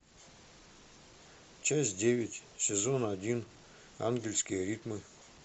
часть девять сезон один ангельские ритмы